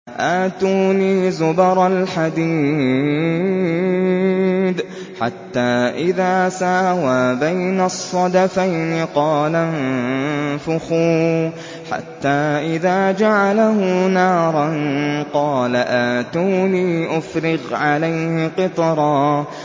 آتُونِي زُبَرَ الْحَدِيدِ ۖ حَتَّىٰ إِذَا سَاوَىٰ بَيْنَ الصَّدَفَيْنِ قَالَ انفُخُوا ۖ حَتَّىٰ إِذَا جَعَلَهُ نَارًا قَالَ آتُونِي أُفْرِغْ عَلَيْهِ قِطْرًا